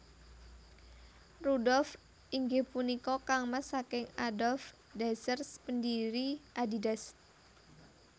Rudolf inggih punika kangmas saking Adolf Dassler pendiri Adidas